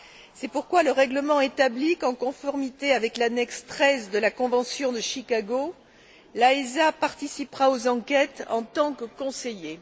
C'est pourquoi le règlement établit qu'en conformité avec l'annexe XIII de la convention de Chicago, l'AESA participera aux enquêtes en tant que conseiller.